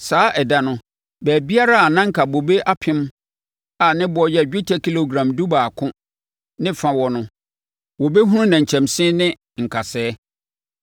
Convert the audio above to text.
Saa ɛda no, baabiara a na anka bobe apem a ne boɔ yɛ dwetɛ kilogram dubaako ne fa wɔ no, wɔbɛhunu nnɛnkyɛnse ne nkasɛɛ.